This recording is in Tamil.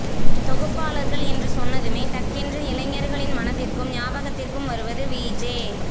தொகுப்பாளர்கள் என்று சொன்னதுமே டக்கென்று இளைஞர்களின் மனதிருக்கும் ஞாபகத்திற்கு வருவது விஜே